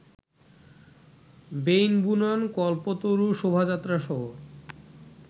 বেইন বুনন, কল্পতরু শোভাযাত্রাসহ